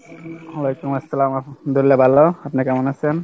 ওয়ালাইকুম আসসালাম আলহামদুল্লাহ ভালো আপনি কেমন আছেন?